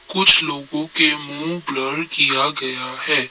कुछ लोगों के मुंह ब्लर किया गया है।